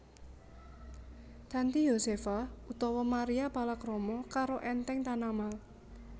Tanty Yosepha utawa Maria palakrama karo Enteng Tanamal